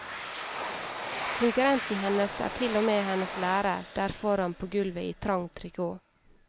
Konkurrenten hennes er til og med hennes lærer der foran på gulvet i trang trikot.